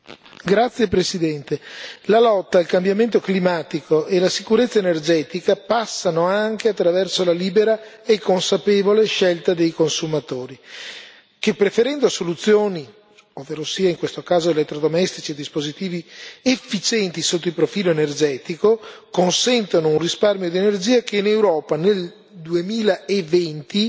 Signor Presidente, onorevoli colleghi, la lotta al cambiamento climatico e la sicurezza energetica passano anche attraverso la libera e consapevole scelta dei consumatori che, preferendo soluzioni, ovverosia in questo caso, elettrodomestici e dispositivi efficienti sotto il profilo energetico, consentono un risparmio di energia che in Europa nel 2020